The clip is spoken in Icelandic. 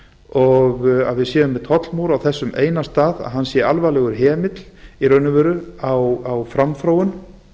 og að við séum með tollmúr á þessum eina stað hann sé alvarlegur hemill á framþróun